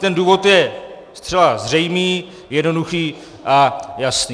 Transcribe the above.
Ten důvod je zcela zřejmý, jednoduchý a jasný.